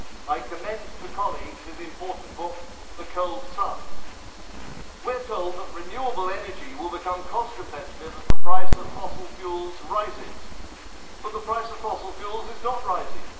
I commend to colleagues his important book The Cold Sun'. We are told that renewable energy will become cost competitive as the price of fossil fuels rises, but the price of fossil fuels is not rising.